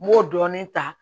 N m'o dɔɔnin ta